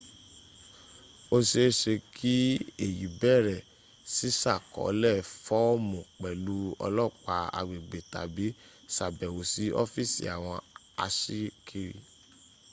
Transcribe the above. ó se é se kí èyí béèrè sísàkọọ́lẹ̀ fọ́ọ̀mù pẹ̀lú olopa agbegbe tabi sàbẹ̀wò sí ọ́fìsì àwọn aṣíkiri